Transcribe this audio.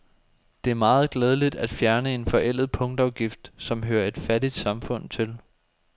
Det er meget glædeligt at fjerne en forældet punktafgift, som hører et fattigt samfund til.